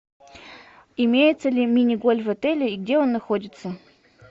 имеется ли мини гольф в отеле и где он находится